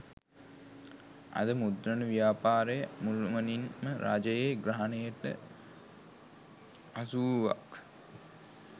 අද මුද්‍රණ ව්‍යාපාරය මුළුමනින් ම රජයේ ග්‍රහණයට හසුවූවක්